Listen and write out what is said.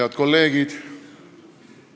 Head kolleegid!